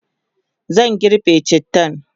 zan girbe cittan